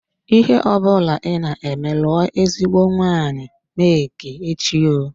Ihe ọbụla ị na-eme lụọ ezigbo nwanyị Make echi oo.